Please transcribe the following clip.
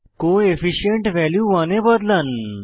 co efficient value 100 এ বদলান